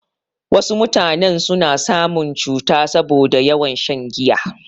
Wasu mutanen suna samun cuta saboda yawan shan giya.